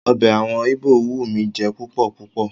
Ọbẹ̀ àwọn Íbò wù mí jẹ púpọ̀ púpọ̀.